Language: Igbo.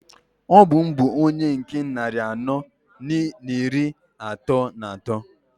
Ọ bụ m bu onye nke nnari anọọ n'iri atọọ n'atọọ.